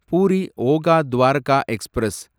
puri Okha Dwarka express